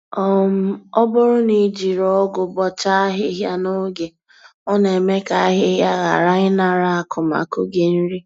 um Ọ bụrụ na ijiri ọgụ bọcha ahịhịa na oge, ọ na-eme ka ahịhịa ghara ịnara akụmakụ gị nri